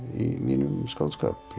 í mínum skáldskap